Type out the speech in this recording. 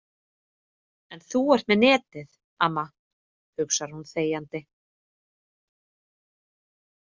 En þú ert með netið, amma, hugsar hún þegjandi.